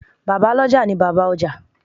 Bàbá lọ́jà ni Bàbá ọjà.